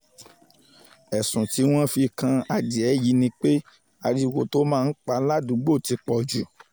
ẹ̀sùn tí wọ́n fi kan adìẹ yìí ni pé ariwo tó máa ń pa ládùúgbò ti pọ̀ jù